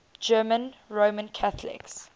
german roman catholics